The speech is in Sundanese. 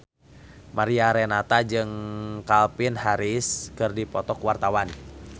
Mariana Renata jeung Calvin Harris keur dipoto ku wartawan